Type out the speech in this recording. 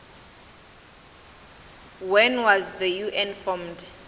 when was the un formed